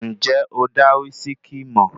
Ǹjẹ́ o dá wísíkí mọ̀?